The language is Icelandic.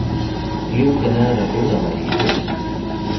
Ljúka neðra burðarlagi í haust